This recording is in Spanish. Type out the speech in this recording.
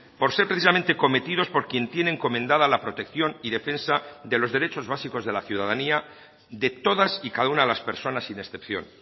por ser precisamente cometidos por quien tiene encomendada la protección y defensa de los derechos básicos de la ciudadanía de todas y cada una de las personas sin excepción